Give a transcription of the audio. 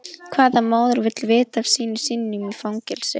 Hvaða móðir vill vita af syni sínum í fangelsi?